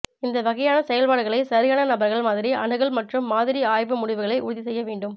இந்த வகையான செயல்பாடுகளை சரியான நபர்கள் மாதிரி அணுகல் மற்றும் மாதிரி ஆய்வு முடிவுகளை உறுதி செய்ய வேண்டும்